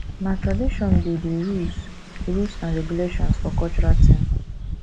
na tradition be de rules rules and regulations for cultural thing